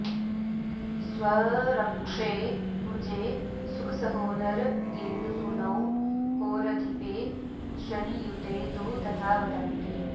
स्वर्क्षे कुजे सुखसहोदरगेन्दुसूनौ होरधिपे शनियुते तु तथा वदन्ति